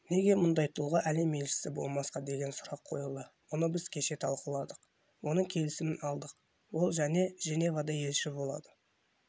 неге мұндай тұлға әлем елшісі болмасқа деген сұрақ қойылды мұны біз кеше талқыладық оның келісімін алдық ол және женевада елшісі болады